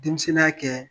Denmisɛnninya kɛ